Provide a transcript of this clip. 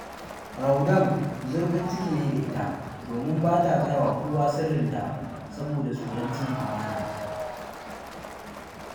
Raudah zurfin ciki ne da ita, domin ba ta gaya wa kowa sirrinta saboda tsoron cin amana